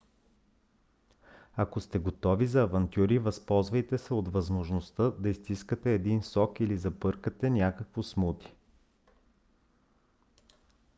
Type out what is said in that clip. ако сте готови за авантюри възползвайте се от възможността да изстискате един сок или забъркате някакво смути: